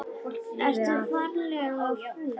Ertu ferlega fúll?